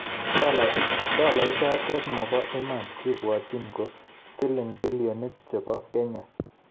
Dola ichotok maba iman ke bwotchin ko silling billionit chebo kenya